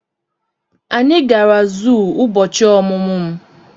Anyị gara zuu ụbọchị ọmụmụ m.